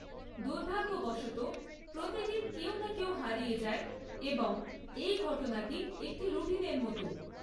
দুর্ভাগ্যবশত, প্রতিদিন কেউ না কেউ হারিয়ে যায় এবং এই ঘটনাটি একটি রুটিনের মতো।